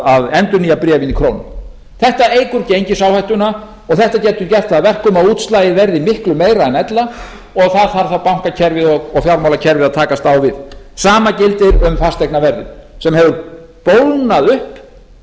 að endurnýja bréfin í krónum þetta eykur gengisáhættuna og þetta getur gert það að verkum að útslagið verði miklu meira en ella og það þarf þá bankakerfið og fjármálakerfið að takast á við það sama gildir um fasteignaverðið sem hefur bólgnað upp